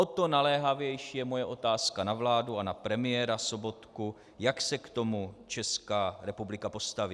O to naléhavější je moje otázka na vládu a na premiéra Sobotku, jak se k tomu Česká republika postaví.